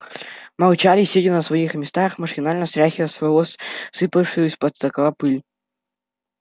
молчали сидя на своих местах машинально стряхивая с волос сыпавшую с потолка пыль